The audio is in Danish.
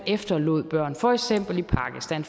skal